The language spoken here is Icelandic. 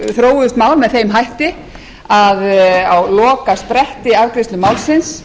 þróuðust mál með þeim hætti að á lokaspretti afgreiðslu málsins